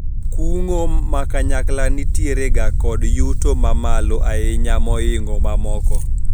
kungo ma kanyakla nitiere ga kod yuto mamalo ahinya moingo mamoko